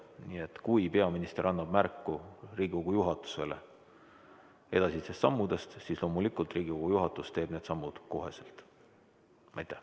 Nii et kui peaminister annab märku Riigikogu juhatusele edasistest sammudest, siis loomulikult Riigikogu juhatus teeb kohe need sammud.